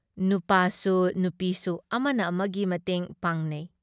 ꯅꯨꯄꯥꯁꯨ ꯅꯨꯄꯤꯁꯨ ꯑꯃꯅ ꯑꯃꯒꯤ ꯃꯇꯦꯡ ꯄꯥꯡꯅꯩ ꯫